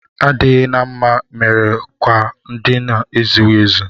Adịghị na mma mere akwa ndina ezughị ezu